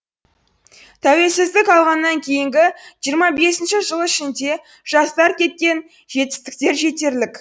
тәуелсіздік алғаннан кейінгі жиырма бесінші жыл ішінде жастар жеткен жетістіктер жетерлік